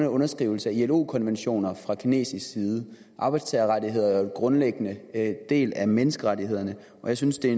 underskrivelse af ilo konventioner fra kinesisk side arbejdstagerrettigheder er en grundlæggende del af menneskerettighederne og jeg synes det er